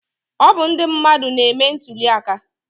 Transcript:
Ọ bụ ndị mmadụ na-eme ntuli aka